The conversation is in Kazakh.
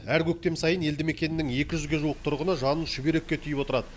әр көктем сайын елді мекеннің екі жүзге жуық тұрғыны жанын шүберекке түйіп отырады